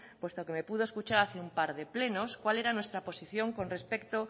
puesto que me pudo escuchar un par de plenos cuál era nuestra posición con respecto